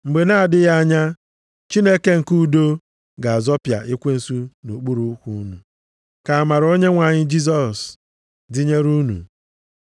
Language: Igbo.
Mgbe na-adịghị anya, Chineke nke udo ga-azọpịa ekwensu nʼokpuru ụkwụ unu. Ka amara Onyenwe anyị Jisọs dịnyere unu.